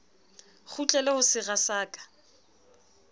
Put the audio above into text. kgutlele ho sera sa ka